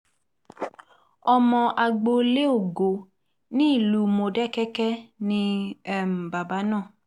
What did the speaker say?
ọmọ agboolé ògo nílùú módékèké ni um bàbá náà